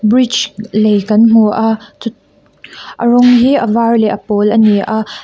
bridge lei kan hmu a chut a rawng hi a var leh a pawl ani a.